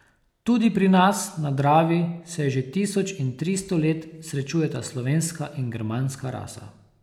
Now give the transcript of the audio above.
Tu pri nas na Dravi se že tisoč in tristo let srečujeta slovenska in germanska rasa.